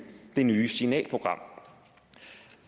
det nye signalprogram